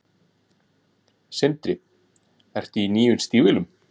Sindri: Ertu í nýjum stígvélum?